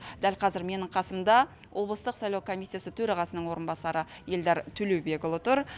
дәл қазір менің қасымда облыстық сайлау комиссиясы төрағасының орынбасары эльдар төлеубекұлы тұр